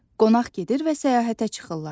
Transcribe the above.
Qonaq gedir və səyahətə çıxırlar.